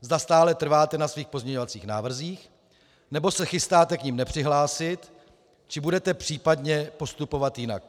zda stále trváte na svých pozměňovacích návrzích, nebo se chystáte k nim nepřihlásit, či budete případně postupovat jinak.